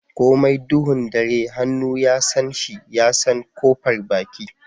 Komai duhun ɗare hannu ya San shi ya San kofar baki.